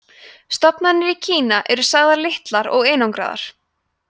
stofnarnir í kína eru sagðir litlir og einangraðir